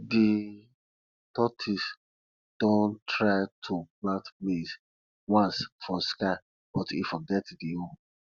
de tortoise don try to plant maize once for sky but e forget de hoe